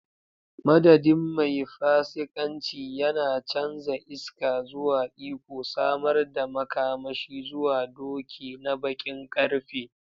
Madadin, mai fasikanci, yana canza iska zuwa iko, samar da makamashi zuwa doki na baƙin ƙarfe.